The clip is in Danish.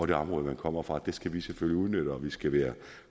det område man kommer fra det skal vi selvfølgelig udnytte og vi skal være